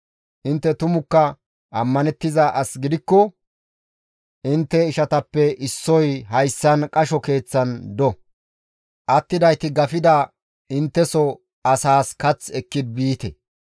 Intte tumukka ammanettiza as gidikko intte ishatappe issoy hayssan qasho keeththan do; attidayti gafida intteso asaas kath ekki biite;